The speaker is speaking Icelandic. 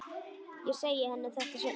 Ég segi henni þetta seinna.